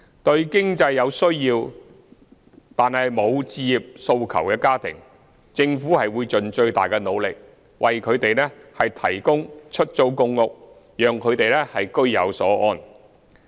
對有經濟需要、無置業訴求的家庭，政府會盡最大的努力，為他們提供公屋，讓他們居有所安。